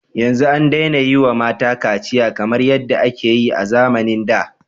Yanzu an daina yi wa mata kaciya kamar yadda ake yi a zamanin da.